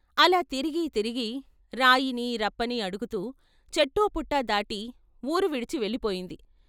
అలా తిరిగి తిరిగి రాయినీ, రప్పని అడుగుతూ, చెట్టూ పుట్టా దాటి వూరు విడిచి వెళ్ళి పోయింది.